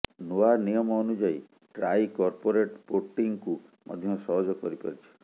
ନୂଆ ନିୟମ ଅନୁଯାୟୀ ଟ୍ରାଇ କର୍ପୋରେଟ୍ ପୋର୍ଟିଂକୁ ମଧ୍ୟ ସହଜ କରିପାରିଛି